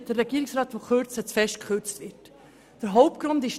Erstens gehen wir davon aus, dass die Kürzung zu gross ist.